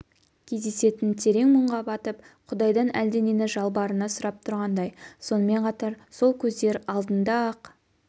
кездесетін терең мұңға батып құдайдан әлденені жалбарына сұрап тұрғандай сонымен қатар сол көздер алдында ақ